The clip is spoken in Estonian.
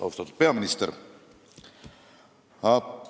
Austatud peaminister!